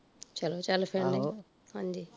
ਚਲੋ ਚੱਲ ਪੈਂਦੇ ਆਹ